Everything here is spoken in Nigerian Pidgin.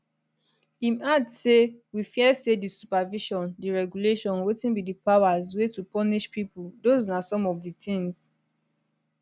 im add say we fear say di supervision di regulation wetin be di powers wey to punish pipo those na some of di tins